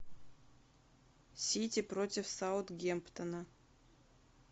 сити против саутгемптона